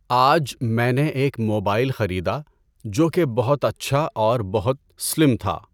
آج میں نے ایک موبائل خریدا جو کہ بہت اچھا اور بہت سلِم تھا۔